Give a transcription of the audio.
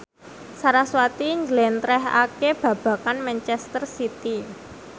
sarasvati njlentrehake babagan manchester city